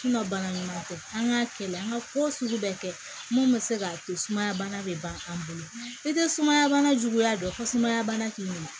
bana ɲuman tɛ an k'a kɛ la an ka ko sugu bɛ kɛ mun bɛ se k'a to sumaya bana bɛ ban an bolo n'i tɛ sumaya bana juguya dɔn ko sumaya bana k'i bolo